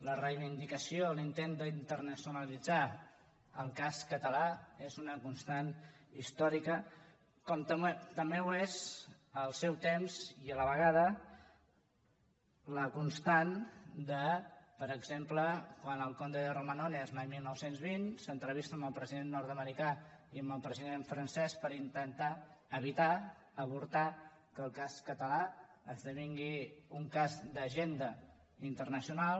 la reivindicació l’intent d’internacionalitzar el cas català és una constant històrica com també ho és al seu temps i a la vegada la constant de per exemple quan el comte de romanones l’any dinou vint s’entrevista amb el president nord americà i amb el president francès per intentar evitar avortar que el cas català esdevingui un cas d’agenda internacional